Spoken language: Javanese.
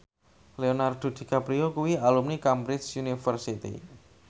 Leonardo DiCaprio kuwi alumni Cambridge University